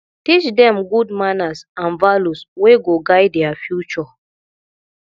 teach dem good manners and values wey go guide their future